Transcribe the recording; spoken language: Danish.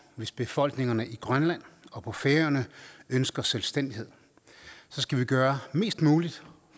hvis befolkningerne i grønland og på færøerne ønsker selvstændighed så skal vi gøre mest muligt